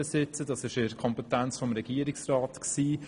Das lag in der Kompetenz des Regierungsrats;